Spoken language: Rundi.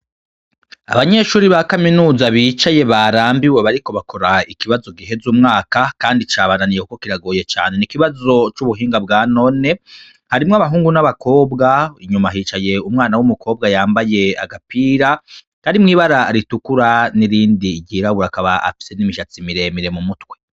Abanyeshuri ba kaminuza bicaye barambiwe bariko bakora ikibazo giheza umwaka, kandi cabananiye, kuko kiragoye cane, n'ikibazo c'ubuhinga bwanone, harimwo abahungu n'abakobwa, inyuma hicaye umwana w'umukobwa yambaye agapira karimwo ibara ritukura n'irindi ryirabura, akaba afise n'imishatsi miremire mu mutwe.